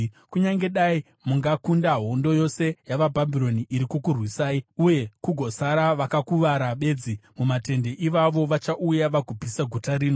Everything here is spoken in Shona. Kunyange dai mungakunda hondo yose yavaBhabhironi iri kukurwisai uye kugosara vakakuvara bedzi mumatende, ivavo vachauya vagopisa guta rino.”